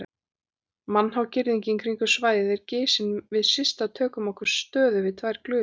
Mannhá girðingin kringum svæðið er gisin og við Systa tökum okkur stöðu við tvær glufur.